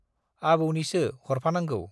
आबौनिसो-हरफानांगौ।